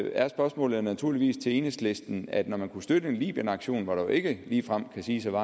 er spørgsmålet jo naturligvis til enhedslisten at når man kunne støtte en libyenaktion hvor der jo ikke ligefrem kan siges at